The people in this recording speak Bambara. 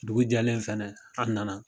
Dugu jɛlen fɛnɛ an nana.